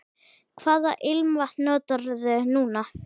Hvaða ilmvatn notarðu núna?